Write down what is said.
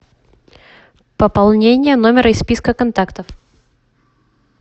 пополнение номера из списка контактов